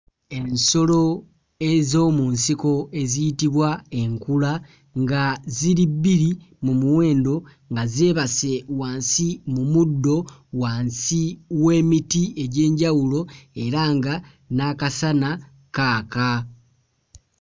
Emisolo ez'omu nsiko eziyitibwa enkula nga ziri bbiri mu muwendo nga zeebase wansi mu muddo wansi w'emiti egy'enjawulo era nga n'akasana kaaka.